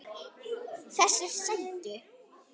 Þessir sætu!